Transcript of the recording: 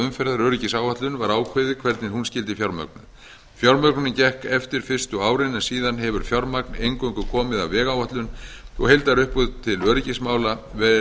umferðaröryggisáætlun var ákveðið hvernig hún skyldi fjármögnuð fjármögnunin gekk eftir fyrstu árin en síðan hefur fjármagn eingöngu komið af vegáætlun og heildarupphæð til öryggismála